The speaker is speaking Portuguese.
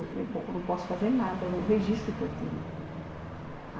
Eu falei bom, eu não posso fazer nada, é o registro o que eu tenho.